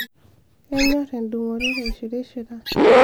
kenyorr endungoret aishirishira